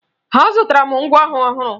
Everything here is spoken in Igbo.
Azụtara m ngwaọrụ ọhụrụ